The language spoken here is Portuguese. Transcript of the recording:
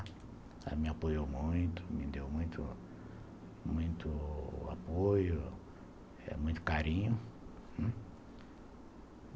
Ela me apoiou muito , me deu muito muito muito apoio, muito carinho.